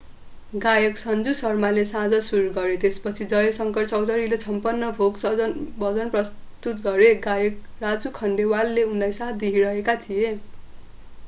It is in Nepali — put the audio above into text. गायक सन्जु शर्माले साँझ सुरु गरे त्यसपछि जय शंकर चौधरीले छपन्न भोग भजन पनि प्रस्तुत गरे गायक राजु खन्डेलवालले उनलाई साथ दिइरहेका थिए